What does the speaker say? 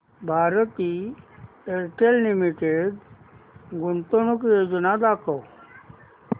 Bharti Airtel limited गुंतवणूक योजना दाखव